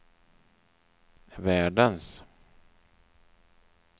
världens